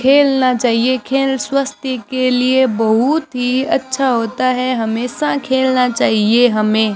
खेलना चाहिए खेल स्वास्थ्य के लिए बहुत ही अच्छा होता है हमेशा खेलना चाहिए हमें।